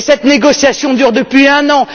Et cette négociation dure depuis un an.